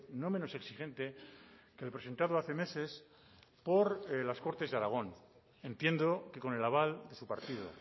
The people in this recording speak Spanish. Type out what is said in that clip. no menos exigente que el presentado hace meses por las cortes de aragón entiendo que con el aval de su partido